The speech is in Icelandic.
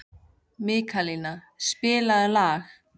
Mikaelína, spilaðu lag.